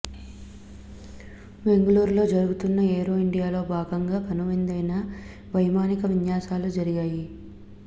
బెంగళూరులో జరుగుతోన్న ఏరో ఇండియాలో భాగంగా కనువిందైన వైమానిక విన్యాసాలు జరిగాయి